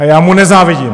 A já mu nezávidím.